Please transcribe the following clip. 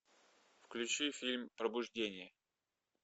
включи фильм пробуждение